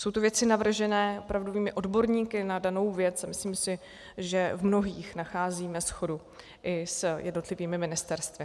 Jsou to věci navržené opravdovými odborníky na danou věc a myslím si, že v mnohých nacházíme shodu i s jednotlivými ministerstvy.